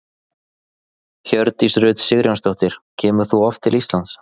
Hjördís Rut Sigurjónsdóttir: Kemur þú oft til Íslands?